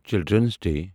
children's day